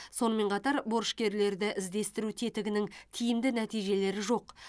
сонымен қатар борышкерлерді іздестіру тетігінің тиімді нәтижелері жоқ